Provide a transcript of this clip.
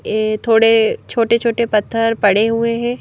ये थोड़े छोटे छोटे पत्थर पड़े हुए हैं।